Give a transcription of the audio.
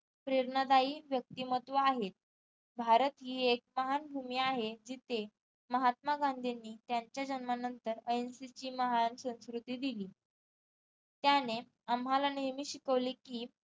प्रेरणादायी व्येक्तीमत्व आहेत भारत ही एक महान भूमी आहे जिथे महात्मा गांधींनी त्यांच्या जन्मानंतर अहिंसेची महान संस्कृती दिली त्याने आम्हाला नेहमी शिकवले की